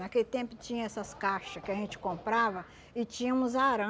Naquele tempo tinha essas caixa que a gente comprava e tínhamos